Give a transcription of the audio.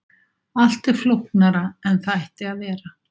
Allt er flóknara en það ætti að vera.